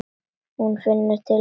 Hún finnur til með honum.